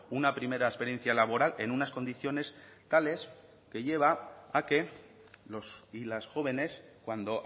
una primera experiencia laboral en unas condiciones tales que lleva a que los y las jóvenes cuando